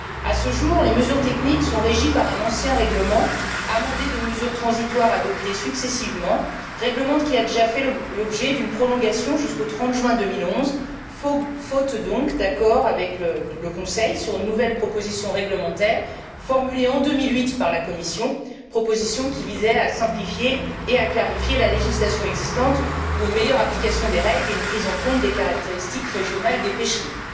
À ce jour, les mesures techniques sont régies par un ancien règlement, amendé de mesures transitoires adoptées successivement, règlement qui a déjà fait l'objet d'une prolongation jusqu'au 30 juin 2011, faute d'accord avec le Conseil sur une nouvelle proposition réglementaire formulée en 2008 par la Commission, laquelle visait à simplifier et à clarifier la législation existante pour une meilleure application des règles et une prise en compte des caractéristiques régionales des pêcheries.